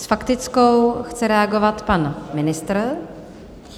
S faktickou chce reagovat pan ministr.